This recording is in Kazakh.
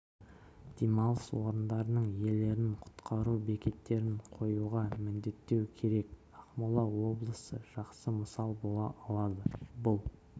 демалыс орындарының иелерін құтқару бекеттерін қоюға міндеттеу керек ақмола облысы жақсы мысал бола алады бұл